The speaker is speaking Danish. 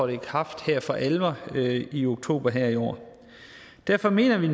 i kraft for alvor i oktober i år derfor mener vi